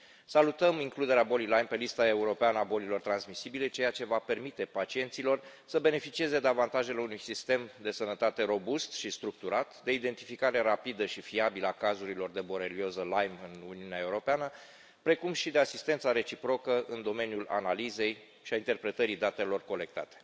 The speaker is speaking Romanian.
Salutăm includerea bolii Lyme pe lista europeană a bolilor transmisibile, ceea ce va permite pacienților să beneficieze de avantajele unui sistem de sănătate robust și structurat de identificare rapidă și fiabilă a cazurilor de borelioză Lyme în Uniunea Europeană, precum și de asistența reciprocă în domeniul analizei și al interpretării datelor colectate.